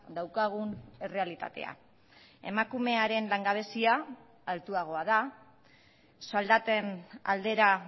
daukagun errealitatea emakumearen langabezia altuagoa da soldaten aldera